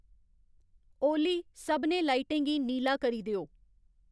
ओली सभनें लाइटें गी नीला करी देओ